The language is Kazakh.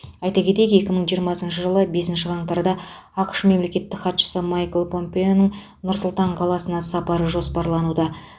айта кетейік екі мың жиырмасыншы жылғы бесінші қаңтарда ақш мемлекеттік хатшысы майкл помпеоның нұр сұлтан қаласына сапары жоспарлануда